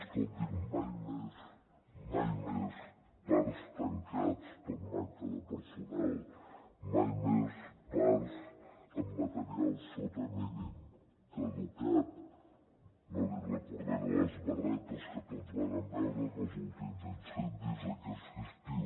escolti’m mai més mai més parcs tancats per manca de personal mai més parcs amb material sota mínims caducat no li recordaré les barretes que tots vàrem veure en els últims incendis aquest estiu